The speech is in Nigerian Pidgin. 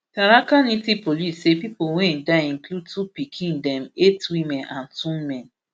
tharaka nithi police say pipo wey die include two pikin dem eight women and two men